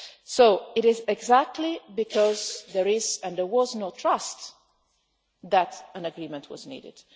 So it is exactly because there is and was no trust that an agreement was needed.